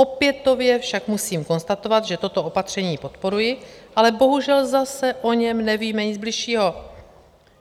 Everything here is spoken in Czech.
Opětovně však musím konstatovat, že toto opatření podporuji, ale bohužel zase o něm nevím nic bližšího.